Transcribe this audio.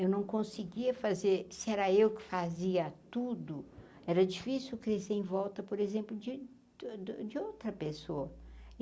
Eu não conseguia fazer... Se era eu que fazia tudo, era difícil crescer em volta, por exemplo, de de de outra pessoa.